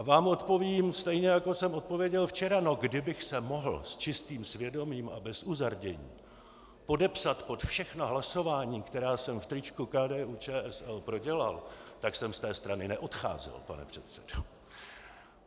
A vám odpovím stejně, jako jsem odpověděl včera - no, kdybych se mohl s čistým svědomím a bez uzardění podepsat pod všechna hlasování, která jsem v tričku KDU-ČSL prodělal, tak jsem z té strany neodcházel, pane předsedo.